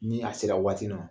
Ni a sera waati nɔ